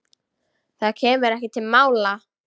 Það kemur ekki til mála.